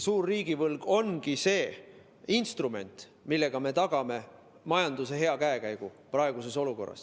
Suur riigivõlg ongi see instrument, millega me praeguses olukorras tagame majanduse hea käekäigu.